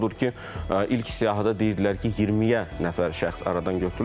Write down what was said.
Odur ki, ilk siyahıda deyirdilər ki, 20-yə nəfər şəxs aradan götürülüb.